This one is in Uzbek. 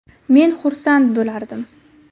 Men xursand bo‘lardim”.